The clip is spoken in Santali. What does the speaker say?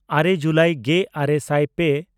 ᱟᱨᱮ ᱡᱩᱞᱟᱭ ᱜᱮᱼᱟᱨᱮ ᱥᱟᱭ ᱯᱮ